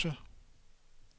størrelse